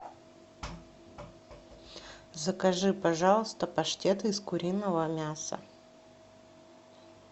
закажи пожалуйста паштет из куриного мяса